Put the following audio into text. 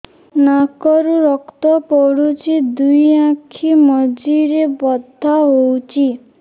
ନାକରୁ ରକ୍ତ ପଡୁଛି ଦୁଇ ଆଖି ମଝିରେ ବଥା ହଉଚି